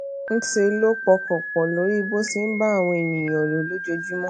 ńṣe ló pọkàn pọ lórí bó ṣe ń bá àwọn ènìyàn lò lójoojúmó